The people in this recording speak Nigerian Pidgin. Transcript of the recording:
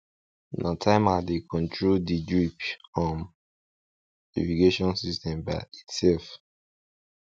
na timer dey control de drip um irrigation system by itself